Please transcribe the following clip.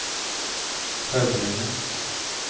Høvringen